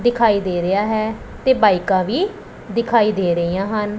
ਦਿਖਾਈ ਦੇ ਰਿਹਾ ਹੈ ਤੇ ਬਾਇਕਾਂ ਵੀ ਦਿਖਾਈ ਦੇ ਰਹੀਆਂ ਹਨ।